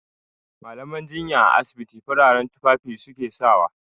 Mallaman jinya a asibiti fararen tufafi su ke sawa.